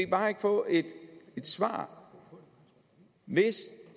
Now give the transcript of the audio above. bare få et svar hvis